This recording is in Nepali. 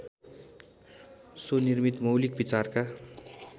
स्वनिर्मित मौलिक विचारका